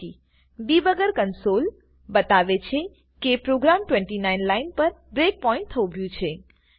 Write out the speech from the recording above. debugger console debugger console બતાવે છે કે પ્રોગ્રામ 29 લાઈન પર બ્રેકપોઈન્ટ થોભ્યું છે